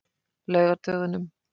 laugardögunum